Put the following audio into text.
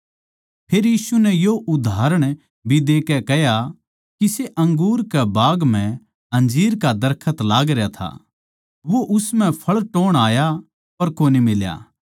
फेर यीशु नै यो उदाहरण भी देकै कह्या किसे अंगूर के बाग म्ह अंजीर का दरखत लागरया था वो उस म्ह फळ टोह्ण आया पर कोनी मिल्या